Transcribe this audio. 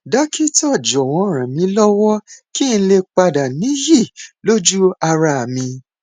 dókítà jọwọ ràn mí lọwọ kí n lè padà níyì lójú ara mi